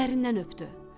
Gözlərindən öpdü.